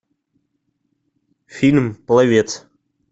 фильм пловец